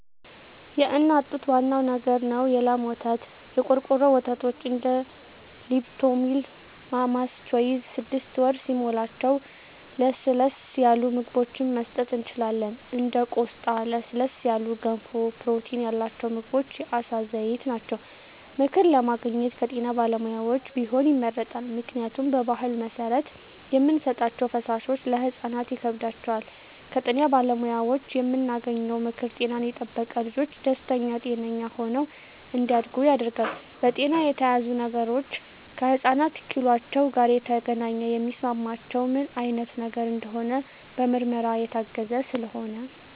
የእናት ጡት ዋናው ነገር ነው የላም ወተት , የቆርቆሮ ወተቶች እንደ ሊፕቶሚል ማማስ ቾይዥ ስድስት ወር ሲሞላቸው ለስለስ ያሉ ምግብችን መስጠት እንችላለን እንደ ቆስጣ ለስለስ ያሉ ገንፎ ፕሮቲን ያላቸው ምግቦች የአሳ ዘይት ናቸው። ምክር ለማግኘት ከጤና ባለሙያዎች ቢሆን ይመረጣል ምክንያቱም በባህል መሰረት የምንሰጣቸዉ ፈሳሾች ለህፃናት ሆድ ይከብዳቸዋል። ከጤና ባለሙያዎች የምናገኘው ምክር ጤናን የጠበቀ ልጅች ደስተኛ ጤነኛ ሆነው እንዳድጉ ያደርጋል። በጤና የታዘዙ ነገሮች ከህፃናት ኪሏቸው ጋር የተገናኘ የሚስማማቸው ምን አይነት ነገር እንደሆነ በምርመራ የታገዘ ስለሆነ